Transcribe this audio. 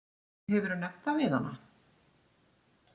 Hefurðu nefnt það við hana?